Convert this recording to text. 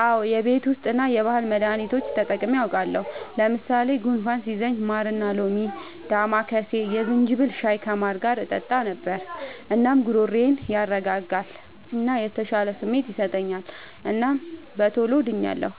አዎ የቤት ዉስጥ እና የባህል መዳኒቶች ተጠቅሜ አዉቃለሁ። ለምሳሌ፦ ጉንፋን ሲይዘኝ ማርና ሎሚ፣ ዳማከሴ፣ የዝንጅብል ሻይ ከማር ጋር እጠጣ ነበር። እናም ጉሮሮዬን ያረጋጋል እና የተሻለ ስሜት ይሰጠኛል እናም በቶሎ ድኛለሁ።